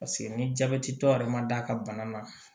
Paseke ni jabɛti tɔ yɛrɛ ma d'a ka bana na